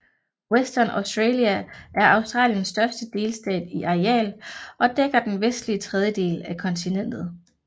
Western Australia er Australiens største delstat i areal og dækker den vestlige tredjedel af kontinentet